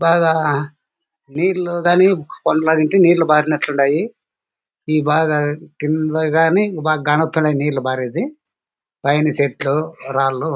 బాగా నీర్లు గానీ నీరు బారినట్టున్నాయి. ఈ బావి కింద గానీ బా కానోతున్నాయి నీళ్లు బరిది. పైన సెట్లు రాళ్ళూ--